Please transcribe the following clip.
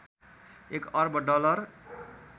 एक अर्ब डलर